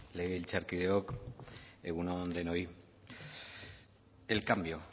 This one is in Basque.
legebiltzarkideok egun on denoi el cambio